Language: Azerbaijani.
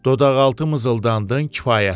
Dodaqaltı mızıldandın kifayətdir.